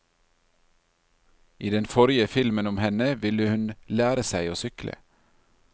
I den forrige filmen om henne ville hun lære seg å sykle.